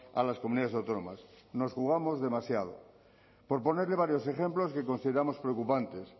a las comunidades autónomas nos jugamos demasiado por ponerle varios ejemplos que consideramos preocupantes